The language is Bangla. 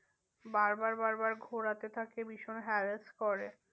বার বার বার বার ঘোরাতে থাকে ভীষণ harass করে।